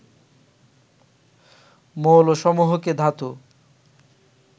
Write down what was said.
মৌলসমূহকে ধাতু